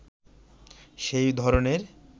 সেই ধরনের